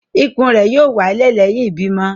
Ikùn r yóò wálẹ̀ lẹ́yìn ìbímọ